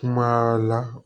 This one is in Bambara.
Kuma la